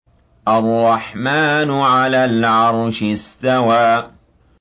الرَّحْمَٰنُ عَلَى الْعَرْشِ اسْتَوَىٰ